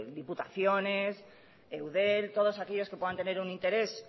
diputaciones eudel todos aquellos que puedan tener un interés